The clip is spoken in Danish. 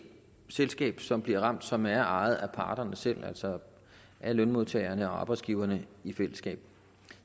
selskab som bliver ramt og som er ejet af parterne selv altså af lønmodtagerne og arbejdsgiverne i fællesskab